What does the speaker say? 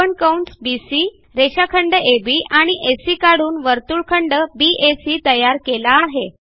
आपण कंस बीसी रेषाखंड अब आणि एसी काढून वर्तुळखंड बॅक तयार केला आहे